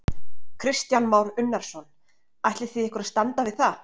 Kristján Már Unnarsson: Ætlið þið ykkur að standa við það?